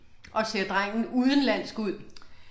Og ser drengen udenlandsk ud?